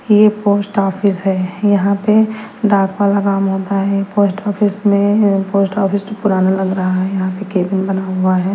यह post office है यहां पे डाक वाला काम होता है पोस्ट ऑफिस में पोस्ट ऑफिस जो पुराना लग रहा है यहां पे कैबिन बना हुआ है।